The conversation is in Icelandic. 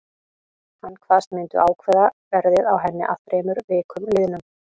Hann kvaðst myndu ákveða verðið á henni að þremur vikum liðnum.